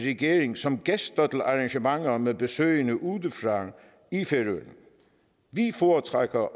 regering som gæster til arrangementer med besøgende udefra i færøerne vi foretrækker